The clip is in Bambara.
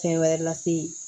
Fɛn wɛrɛ lase